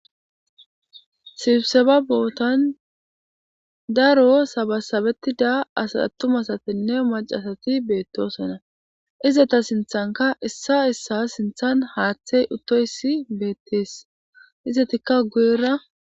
sibiseba bootan daro sabasabettida as attumasatenne maca asati beettoosonna izeta sinthanka issi issi sinthan haaththey uttoyssi beettees izetikka guyera